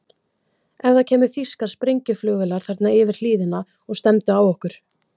Ef það kæmu þýskar sprengjuflugvélar þarna yfir hlíðina og stefndu á okkur?